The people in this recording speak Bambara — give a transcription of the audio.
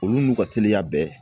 Olu n'u ka teliya bɛɛ